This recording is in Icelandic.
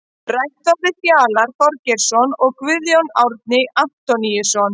Rætt var við Fjalar Þorgeirsson og Guðjón Árni Antoníusson.